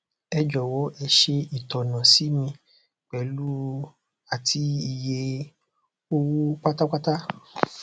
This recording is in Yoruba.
ẹ jọwọ e ṣe itona si mi pẹlu àti iye owó pátápátá